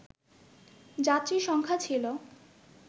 যাত্রী সংখ্যা ছিল